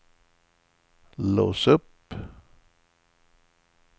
lås upp